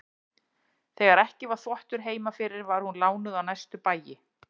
Þegar ekki var þvottur heima fyrir var hún lánuð á næstu bæi.